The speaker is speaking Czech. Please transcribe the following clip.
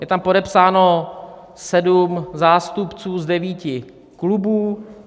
Je tam podepsáno sedm zástupců z devíti klubů.